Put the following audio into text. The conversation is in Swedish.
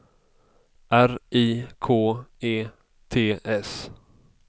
R I K E T S